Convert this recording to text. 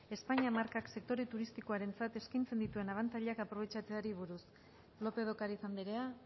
españa markak sektore turistikoarentzat eskaintzen dituen abantailak aprobetxatzeari buruz lópez de ocariz andrea